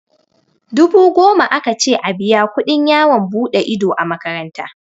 Dubu goma aka ce a biya kuɗin yawon buɗe ido a makaranta.